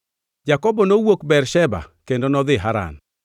Jakobo nowuok Bersheba kendo nodhi Haran.